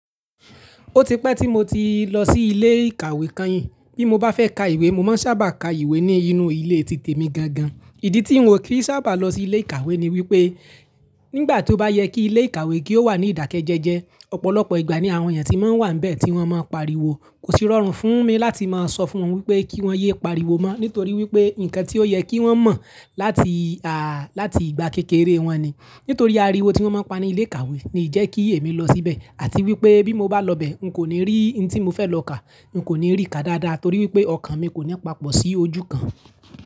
Ó ti pẹ́ tí mo ti lọ sí ilé ìkàwé kan yìn. Bí mo bá fẹ́ ka ìwé, mo máa ń sábà ka ìwé nínú ilé ti temi gangan. Ìdí tí n ò kí sábà lọ sí ilé ìkàwé ni wípé nígbà tó bá yẹ kí ilé ìkàwé kí ó wà ní ìdákẹ́jẹẹjẹ, ọ̀pọ̀lọpọ̀ ìgbà ni àwọn ènìyàn tí máa ń wà níbẹ̀ tí wọ́n máa ń pariwo. Kò sí rọrùn fún mi láti máa sọ fún wọn wípé kí wọ́n yé pariwo mọ́, nítorí wípé nǹkan tí ó yẹ kí wọ́n mọ̀ láti, à, láti ìgbà kékeré wọn ni. Nítorí ariwo tí wọ́n máa ń pa ní ilé ìkàwé ni ìjẹ́ kí èmi lọ síbẹ̀. Àti wípé bí mo bá lọ bẹ̀, n kò ní rí ntí mo fẹ́ lọ kà. N kò ní rí ká dáadáa torí wípé ọkàn mi kò ní papọ̀ sí ojú kan.